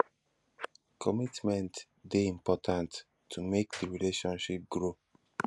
commitment de important to make di relationship grow